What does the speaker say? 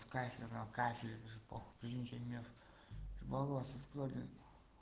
кафель же куплинов любовался способен